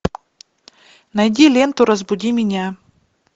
найди ленту разбуди меня